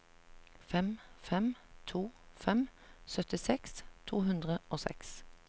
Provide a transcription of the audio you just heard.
fem fem to fem syttiseks to hundre og seks